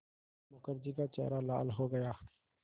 मुखर्जी का चेहरा लाल हो गया